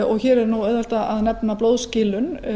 og hér er auðvelt að nefna blóðskilun